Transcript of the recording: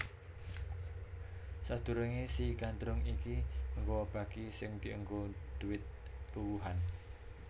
Sadurunge si Gandrung iki nggawa baki sing dienggo dhuwit buwuhan